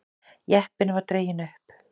Jeppinn var dreginn upp.